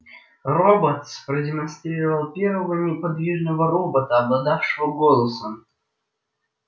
роботс продемонстрировал первого неподвижного робота обладавшего голосом